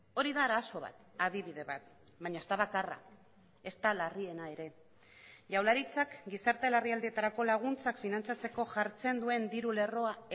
hori da arazo bat adibide bat baina ez da bakarra ezta larriena ere jaurlaritzak gizarte larrialdietarako laguntzak finantzatzeko jartzen duen diru lerroa